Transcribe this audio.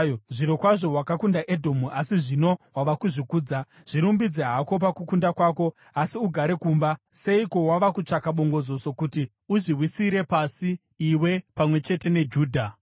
Zvirokwazvo wakakunda Edhomu asi zvino wava kuzvikudza. Zvirumbidze hako pakukunda kwako, asi ugare kumba! Seiko wava kutsvaka bongozozo kuti uzviwisire pasi iwe pamwe chete neJudha?”